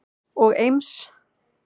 og Eims